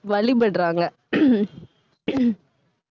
வழிபடுறாங்க